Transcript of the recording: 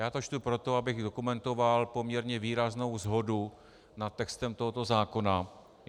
Já to čtu proto, abych dokumentoval poměrně výraznou shodu nad textem tohoto zákona.